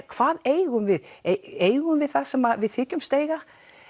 hvað eigum við eigum við það sem við þykjumst eiga